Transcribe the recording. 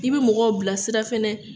I bi mɔgɔw bila sira fɛnɛ